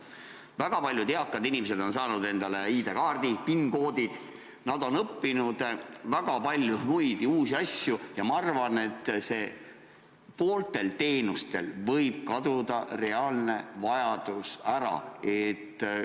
Väga paljud eakad inimesed on saanud endale ID-kaardi, PIN-koodid, nad on õppinud väga palju uusi asju ja ma arvan, et poolte teenuste järele võib reaalne vajadus ära kaduda.